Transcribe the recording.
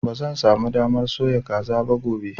Ba zan sa mu damar soya kaza gobe ba